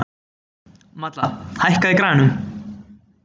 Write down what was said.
Malla, hækkaðu í græjunum.